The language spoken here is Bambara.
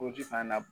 fana na